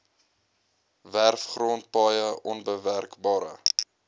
werfgrond paaie onbewerkbare